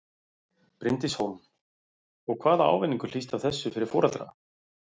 Bryndís Hólm: Og hvaða ávinningur hlýst af þessu fyrir foreldra?